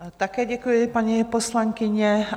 Také děkuji, paní poslankyně.